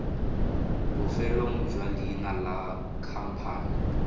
bofelong jwa leina la khamphane